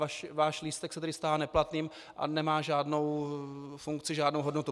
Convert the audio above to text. Váš lístek se tedy stává neplatným a nemá žádnou funkci, žádnou hodnotu.